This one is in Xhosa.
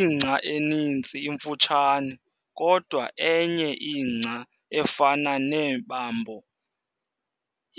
Ingca eninzi imfutshane, kodwa enye ingca efana nebamboo